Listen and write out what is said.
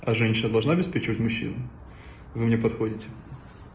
а женщина должна обеспечивать мужчин вы мне подходите